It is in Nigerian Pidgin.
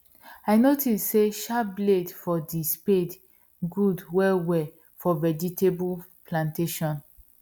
i notice say sharp blade for the spade good well well for vegetable plantation